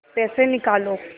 पैसे निकालो